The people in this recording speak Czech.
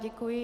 Děkuji.